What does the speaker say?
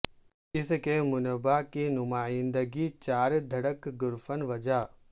اس کے منبع کی نمائندگی چار دھڑک گرفن وجہ